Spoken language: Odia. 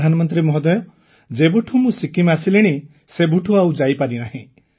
ପ୍ରଧାନମନ୍ତ୍ରୀ ମହୋଦୟ ଯେବେଠୁଁ ମୁଁ ସିକ୍କିମ୍ ଆସିଲିଣି ସେବେଠୁଁ ଆଉ ଯାଇପାରିନି